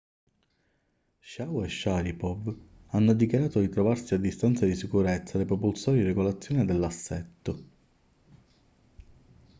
chiao e sharipov hanno dichiarato di trovarsi a distanza di sicurezza dai propulsori di regolazione dell'assetto